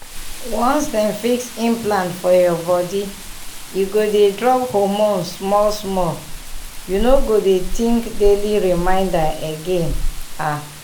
once dem fix implant for your body e go dey drop hormone small-small — you no go dey think daily reminder again… ah!